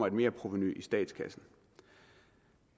et merprovenu i statskassen